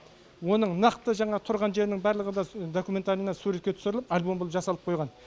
оның нақты жаңағы тұрған жерінің барлығы да документально суретке түсіріліп альбом боп жасалып қойған